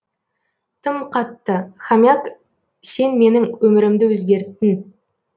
тым қатты хомяк сен менің өмірімді өзгерттің